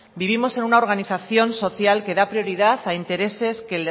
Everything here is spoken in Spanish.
vivimos en una organización social que da prioridad a intereses que